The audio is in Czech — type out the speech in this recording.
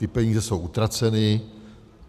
Ty peníze jsou utraceny.